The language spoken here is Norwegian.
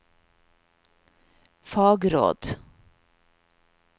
fagråd